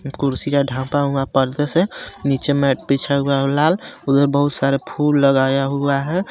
कुर्सियां ढापा हुआ पर्दे से नीचे मैट बिछा हुआ लाल उधर बहुत सारा फूल लगाया हुआ है।